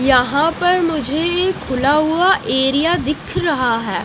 यहां पर मुझे एक खुला हुआ एरिया दिख रहा है।